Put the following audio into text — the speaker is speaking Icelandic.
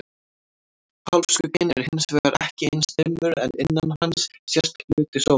Hálfskugginn er hins vegar ekki eins dimmur en innan hans sést hluti sólar.